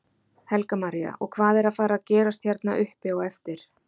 Helga María: Og hvað er að fara gerast hérna uppi á eftir?